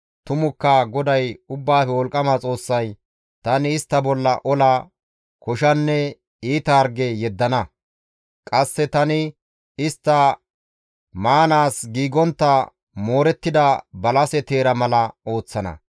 tumukka GODAY Ubbaafe Wolqqama Xoossay, ‹Tani istta bolla ola, koshanne iita harge yeddana; qasse tani istta maanaas giigontta moorettida balase teera mala ooththana.